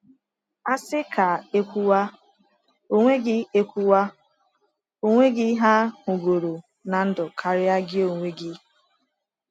Asị ka ekwuwa, o onweghi ekwuwa, o onweghi ha hụrụgoro na ndụ karịa gị onwe gị